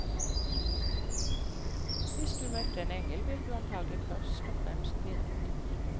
Hvis du møtte en engel, ville du antagelig først og fremst bli redd.